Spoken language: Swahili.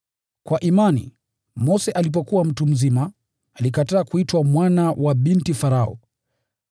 Kwa imani, Mose alipokuwa mtu mzima, alikataa kuitwa mwana wa binti Farao.